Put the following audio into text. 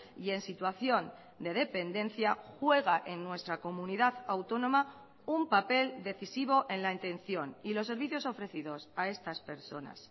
y en situación de dependencia juega en nuestra comunidad autónoma un papel decisivo en la intención y los servicios ofrecidos a estas personas